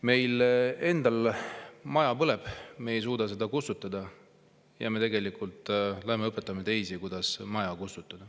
Meil endal maja põleb, me ei suuda seda kustutada, ja me tegelikult läheme õpetame teisi, kuidas maja kustutada.